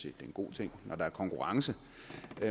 er en god ting at der er konkurrence